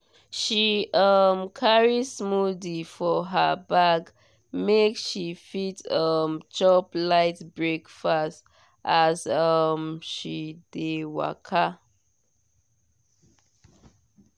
she um carry smoothie for her bag make she fit um chop light breakfast as um she dey waka.